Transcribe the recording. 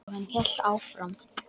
Og hann hélt áfram.